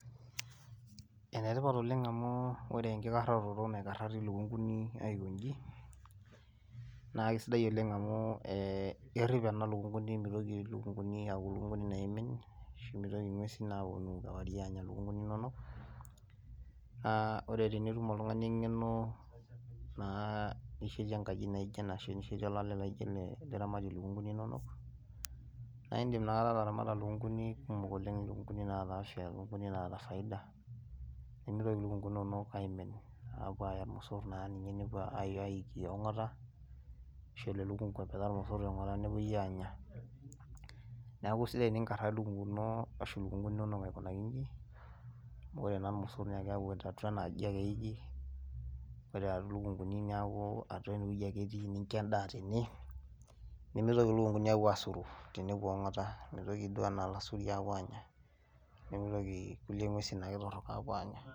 ene tipat oleng amu ore enkikaroto naikarari ilukunkuni aikoji. naa kisidai oleng amu ee kerip ena lukunkuni, mitoki lukunkuni aku ilukunkuni naimin, ashu mitoki ing'uesin aapuonu kewarie aanya lukunkuni inonok. ore pee itum oltungani engeno nishetie enkaji naijo ena ashu nishetie olale laijo ene, niramatie iluknkuni inonok. naa idim ina kata ataramata ilukunkuni kumok oleng. ilukunkuni naata afia ilukunkuni naata faida. pee mitoki ilukunkuni inonok aimin aapuo aaya ilmosor naa ninye nepuo ayiki ong'ota. ashu elo elukunku apetaa irmosor tiong'ota nepuoi aanya. neku isidai teninkaraa lkunkuni inonok aikunaa iji. ore taa irmosor naa keku atua ena aji ake eiki, ore taa irmosor naa keeku atua ena aji ake eiki, ore luku nkuni neeku atua ene wueji ake etii, nincho edaa tene, nemitoki ilukunkuni aitoki aapuo aasur tenepuo ong'ota. amu ilasuriak oonya, nemeitoki ake kulie ng'uesi torok aanya.